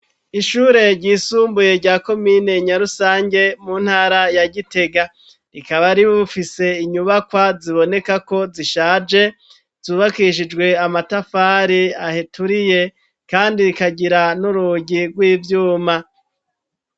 Ishure ryisumbuye ryako minenya rusange mu ntara ya gitega rikaba ribufise inyubakwa ziboneka ko zishaje zubakishijwe amatafari aheturiye, kandi rikagira n'urugi rw'ivyuma.